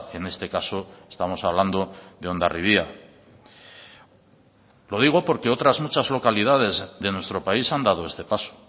en este caso estamos hablando de hondarribia lo digo porque otras muchas localidades de nuestro país han dado este paso